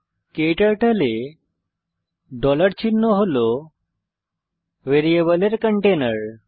ক্টার্টল এ চিহ্ন হল ভ্যারিয়েবলের কন্টেনার